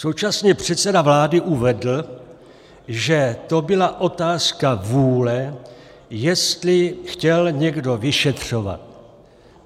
Současně předseda vlády uvedl, že to byla otázka vůle, jestli chtěl někdo vyšetřovat.